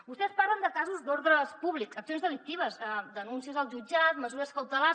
vostès parlen de casos d’ordre públic accions delictives denúncies al jutjat mesures cautelars